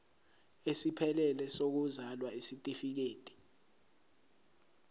esiphelele sokuzalwa isitifikedi